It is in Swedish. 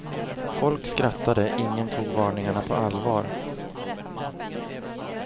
Folk skrattade, ingen tog varningarna på allvar.